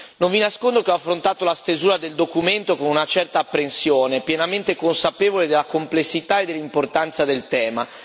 Non vi nascondo che ho affrontato la stesura del documento con una certa apprensione, pienamente consapevole della complessità e dell'importanza del tema.